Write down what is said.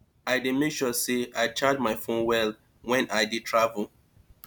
i dey make sure sey i charge my fone well wen i dey travel